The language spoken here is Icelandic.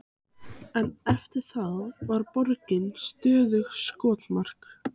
Sá gamli hafði reynsluna í þessum efnum.